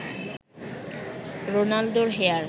রোনালদোর হেয়ার